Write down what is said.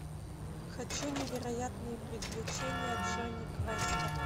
хочу невероятные приключения джонни квеста